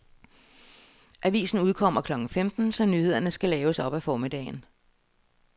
Avisen udkommer klokken femten, så nyhederne skal laves op ad formiddagen.